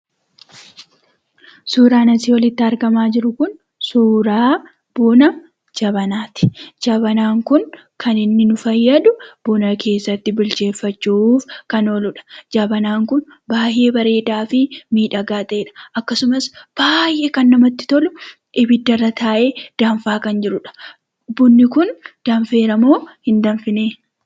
Suuraan asii olitti argamaa jiru kun suuraa buna jabanaati. Jabanaan kun kan inni nu fayyadu buna keessatti bilcheeffachuuf kan ooludha. Jabanaan kun baay'ee bareedaa fi miidhagaa ta'edha akkasumas baay'ee kan namatti tolu ibiddarra taa'ee danfaa kan jirudha. Bunni kun danfeera moo hin danfine?